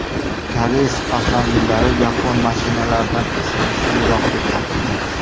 Koreys avtomobillari yapon mashinalaridan ishonchliroq deb topildi.